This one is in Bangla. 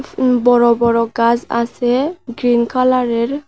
উম বড় বড় গাস আসে গ্রীন কালারের।